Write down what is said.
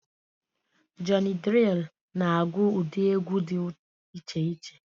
Jọny Drịl na agụ ụdị egwu dị iche iche